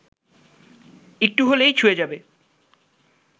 একটু হলেই ছুঁয়ে যাবে